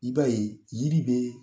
I ba ye yiri be